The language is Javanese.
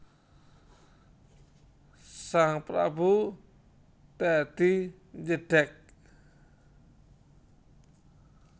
Sang prabu dadi jedheg